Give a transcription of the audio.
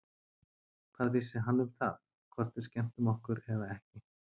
Hvað vissi hann um það, hvort við skemmtum okkur eða ekki?